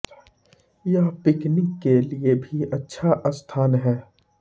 यह पिकनिक के लिए भी अच्छा स्थान है